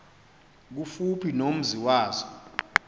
kufuphi nomzi wazo